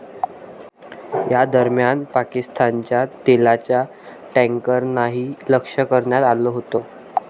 या दरम्यान पाकिस्तानच्या तेलाच्या टॅन्करनाही लक्ष करण्यात आलं होतं.